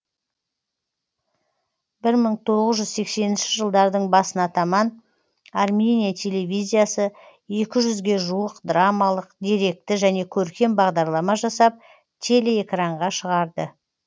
бір мың тоғыз жүз сексенінші жылдардың басына таман армения телевизиясы екі жүзге жуық драмалық деректі және көркем бағдарлама жасап телеэкранға шығарды